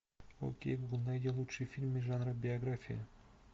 окей гугл найди лучшие фильмы жанра биография